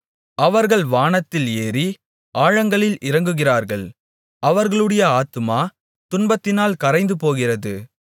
அவர்கள் வானத்தில் ஏறி ஆழங்களில் இறங்குகிறார்கள் அவர்களுடைய ஆத்துமா துன்பத்தினால் கரைந்துபோகிறது